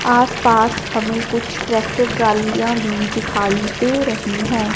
आस पास हमें कुछ टैक्टर ट्रालीयां भी दिखाई दे रही है।